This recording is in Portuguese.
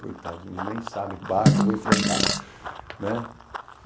Coitados, eles nem sabem o bar que eu vou enfrentar, né?